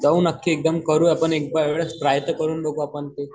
जाऊन आख्खे एक्दम करू आपण एका वेळेस ट्राय तर करू आपण ते.